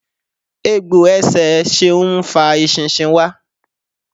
Egbò ẹsẹ Ṣeun ń fa eṣinṣin wá.